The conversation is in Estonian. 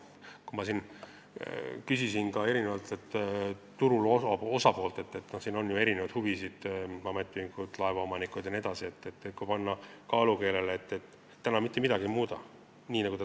Ma küsisin ka turu osapooltelt – siin on ju erinevate huvidega ametiühingud, laevaomanikud jne –, kumma nad valivad, kui panna kaalukeelele see, et me täna mitte midagi ei muuda, ja ...